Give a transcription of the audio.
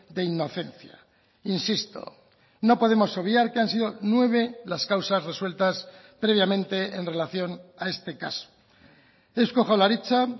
de inocencia insisto no podemos obviar que han sido nueve las causas resueltas previamente en relación a este caso eusko jaurlaritza